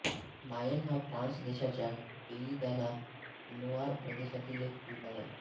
मायेन हा फ्रान्स देशाच्या पेई दा ला लोआर प्रदेशातील एक विभाग आहे